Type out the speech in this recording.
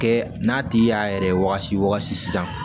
Kɛ n'a tigi y'a yɛrɛ wagati sisan